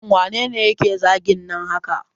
Shin waye yake zagin nan haka